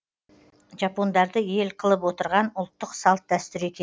жапондарды ел қылып отырған ұлттық салт дәстүр екен